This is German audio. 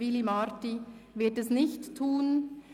Willy Marti wird es nicht tun.